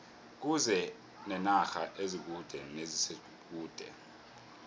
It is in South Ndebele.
kuze nenarha ezikude neziseduze